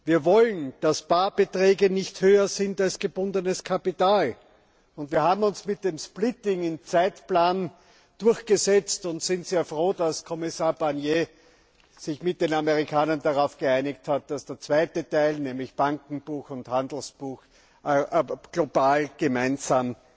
Wir wollen, dass Barbeträge nicht höher sind als gebundenes Kapital. Wir haben uns mit dem Splitting im Zeitplan durchgesetzt und sind sehr froh, dass Kommissar Barnier sich mit den Amerikanern darauf geeinigt hat, dass der zweite Teil, nämlich Bankenbuch und Handelsbuch, global gemeinsam